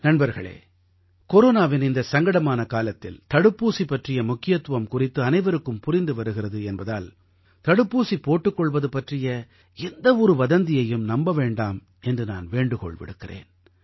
நண்பர்களே கொரோனாவின் இந்த சங்கடமான காலத்தில் தடுப்பூசி பற்றிய முக்கியத்துவம் குறித்து அனைவருக்கும் புரிந்து வருகிறது என்பதால் தடுப்பூசி போட்டுக் கொள்வது பற்றிய எந்த ஒரு வதந்தியையும் நம்ப வேண்டாம் என்று நான் வேண்டுகோள் விடுக்கிறேன்